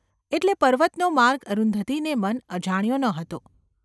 એટલે પર્વતનો માર્ગ અરુંધતીને મન અજાણ્યો ન હતો.